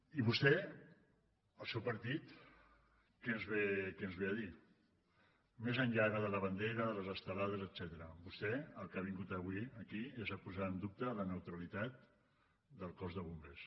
i vostè el seu partit què ens ve a dir més enllà ara de la bandera de les estelades etcètera vostè al que ha vingut avui aquí és a posar en dubte la neutralitat del cos de bombers